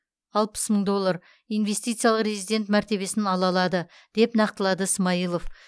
алпыс мың доллар инвестициялық резидент мәртебесін ала алады деп нақтылады смайылов